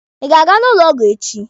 Ị ga-aga n'ụlọ ọgwụ echi?